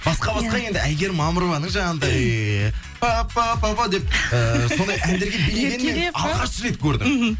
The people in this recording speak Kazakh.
басқа басқа енді әйгерім мамырованың жаңағындай пппп деп ыыы сондай әндерге билегеннін мен алғаш рет көрдім мхм